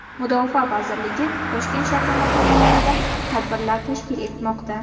Mudofaa vazirligi Toshkent shahri mahallalarida tadbirlar tashkil etmoqda.